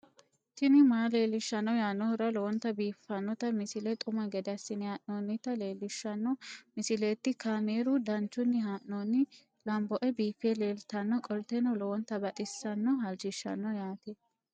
tini maa leelishshanno yaannohura lowonta biiffanota misile xuma gede assine haa'noonnita leellishshanno misileeti kaameru danchunni haa'noonni lamboe biiffe leeeltannoqolten lowonta baxissannoe halchishshanno yaate